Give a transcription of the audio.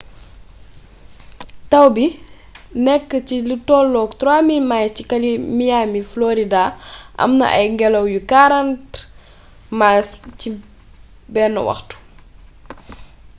tawbi nékk ci lutollook 3,000 miles ci miami florida amna ay gélaw yu 40 mph 64kph